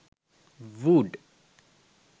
wood